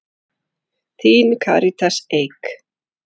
Þín, Karítas Eik.